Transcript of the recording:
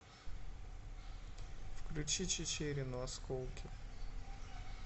включи чичерину осколки